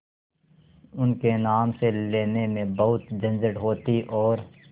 उनके नाम से लेने में बहुत झंझट होती और